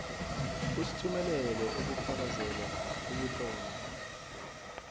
usithumelele ubufakazelo obutlolwe